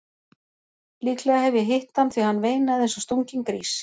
Líklega hef ég hitt hann því hann veinaði eins og stunginn grís.